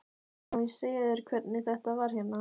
Má ég segja þér hvernig þetta var hérna?